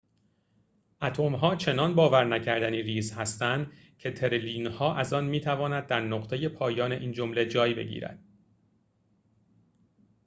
اتم‌ها چنان باور نکردنی ریز هستند که تریلیون‌ها از آن می‌تواند در نقطه پایان این جمله جای بگیرد